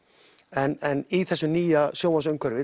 en í þessu nýja